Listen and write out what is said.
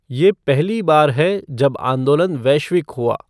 यह पहली बार है जब आंदोलन वैश्विक हुआ।